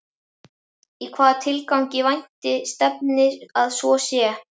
Í hvaða tilgangi vænti stefndi að svo sé?